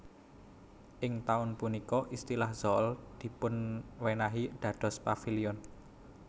Ing taun punika istilah Zaal dipunéwahi dados Paviliun